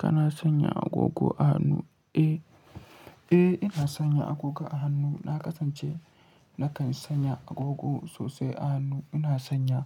Kana sanya agogo a hannu? Eh, eh ina sanya agogo a hannu. Na kasance nakan sanya agogo sosai a hannu. Ina sanya